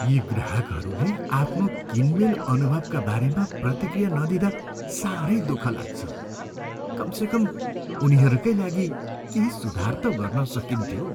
यी ग्राहकहरूले आफ्नो किनमेल अनुभवका बारेमा प्रतिक्रिया नदिँदा साह्रै दुःख लाग्छ। कमसेकम उनीहरूकै लागि केही सुधार त गर्न सकिन्थ्यो!